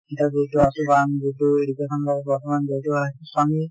কৰি থোৱা আছে বা আমি যিহেতু education ৰ লগত বৰ্তমান জড়িত হৈ আছো, so আমি